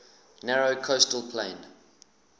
narrow coastal plain